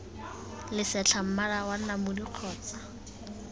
lesetlha mmala wa namune kgotsa